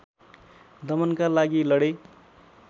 दमनका लागि लडे